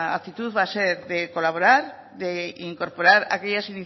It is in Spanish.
actitud va a ser de colaborar de incorporar aquellas